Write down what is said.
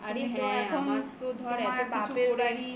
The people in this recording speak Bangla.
আরে হ্যাঁ আমার তো ধর এত